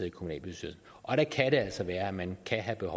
i kommunalbestyrelsen og der kan det altså være at man kan have